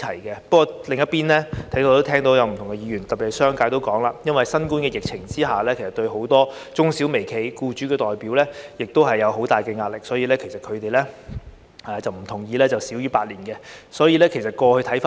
不過，另一方面，我在此亦聽到不同議員的意見，特別是商界提到因應對新冠疫情，很多中小微企和僱主代表也面對很大壓力，所以不同意以少於8年時間落實有關建議。